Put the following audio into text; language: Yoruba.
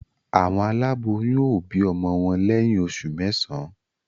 Awon aláboyún o bi ọmọ wọn lẹyìn oṣù mẹsan